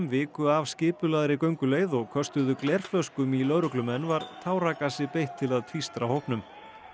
viku af skipulagðri gönguleið og köstuðu glerflöskum í lögreglumenn var táragasi beitt til að tvístra hópnum